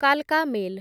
କାଲକା mail